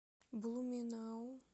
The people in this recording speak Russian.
блуменау